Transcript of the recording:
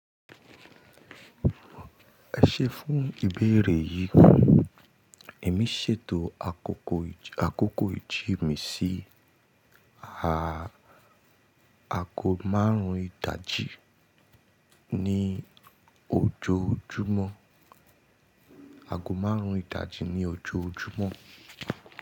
Ẹṣẹ fún ìbéèrè yìí, èmi ṣètò àkókò ìjì mi sí àgọ́ márùn-ún ìdajì ní ojoojúmọ́.